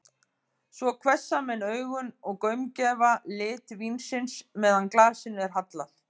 Svo hvessa menn augun og gaumgæfa lit vínsins, meðan glasinu er hallað.